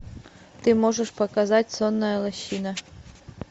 ты можешь показать сонная лощина